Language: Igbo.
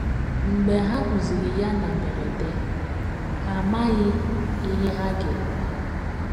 Mgbe ha hụziri ya na mberede,, ha amaghị ihe ha ga - eme.